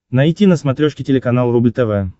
найти на смотрешке телеканал рубль тв